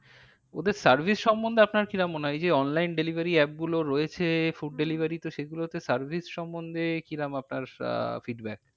ওদের service সম্মন্ধে আপনার কি রকম মনে হয় এই যে online delivery app গুলো রয়েছে food delivery তে সেগুলোতে service সম্মন্ধে কি রকম আপনার আহ feedback